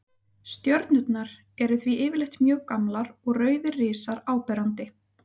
Stjörnurnar eru því yfirleitt mjög gamlar og rauðir risar áberandi.